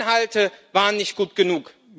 Ihre Inhalte waren nicht gut genug.